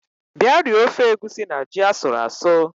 Bia rie ofe egusi na ji asuru asụ